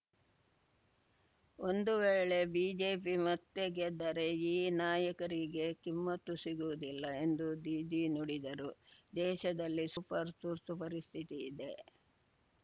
ಒಂದು ವೇಳೆ ಬಿಜೆಪಿ ಮತ್ತೆ ಗೆದ್ದರೆ ಈ ನಾಯಕರಿಗೆ ಕಿಮ್ಮತ್ತು ಸಿಗುವುದಿಲ್ಲ ಎಂದು ದೀದಿ ನುಡಿದರು ದೇಶದಲ್ಲಿ ಸೂಪರ್‌ ತುರ್ತುಪರಿಸ್ಥಿತಿ ಇದೆ